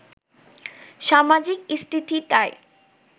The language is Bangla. সামাজিক স্থিতিটাই